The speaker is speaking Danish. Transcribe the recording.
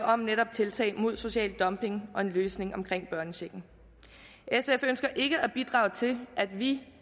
om netop tiltag mod social dumping og en løsning omkring børnechecken sf ønsker ikke at bidrage til at vi